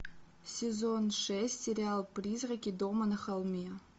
сезон шесть сериал призраки дома на холме